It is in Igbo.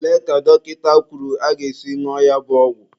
Olee ka dọkịta kwuru aga-esi ñụọ ya bụ ọgwụ?